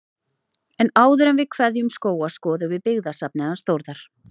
En áður en við kveðjum Skóga skoðum við byggðasafnið hans Þórðar.